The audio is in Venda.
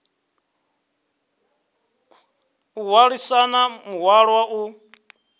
o hwalisana muhwalo wa u